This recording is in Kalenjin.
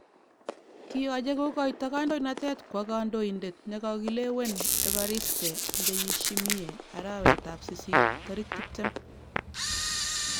Kiyoche kogoito kadoinatet kwo kondoidet nekikokilewen Evariste Ndayishimiye arawet tab sisit 20.